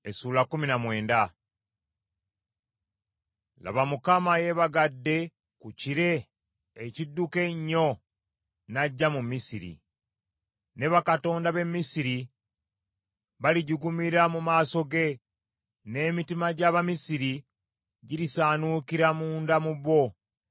Obunnabbi obukwata ku Misiri: Laba, Mukama yeebagadde ku kire ekidduka ennyo ajja mu Misiri. Ne bakatonda b’e Misiri balijugumira mu maaso ge, n’emitima gy’Abamisiri girisaanuukira munda mu bo.